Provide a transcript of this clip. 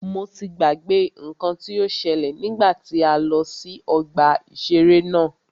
Mo ti gbàgbé nnkan tí o ṣẹ́lẹ̀ nígbà tí a lọ sí ọgbà ìṣẹ̀rẹ́ náà.